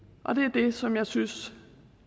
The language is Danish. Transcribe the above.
det er det som jeg synes